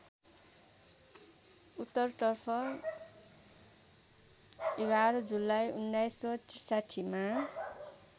उत्तरतर्फ ११ जुलाई १९६३ मा